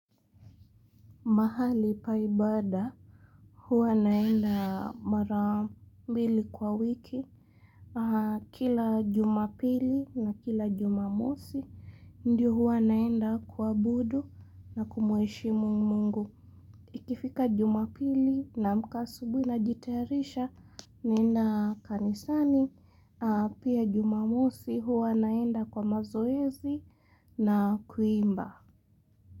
Mahali pa ibada, huwa naenda mara mbili kwa wiki, kila Jumapili na kila Jumamosi, ndio huwa naenda kuabudu na kumuheshimu Mungu. Ikifika Jumapili naamka asubuhi najitayarisha, naenda kanisani, ahh pia Jumamosi huwa naenda kwa mazoezi na kuimba.